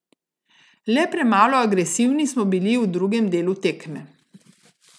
Le premalo agresivni smo bili v drugem delu tekme.